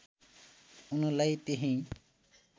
उनलाई त्यहीँ